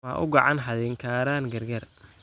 Ma uu gacan haadin karaan gargaar.